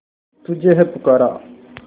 तुझे है पुकारा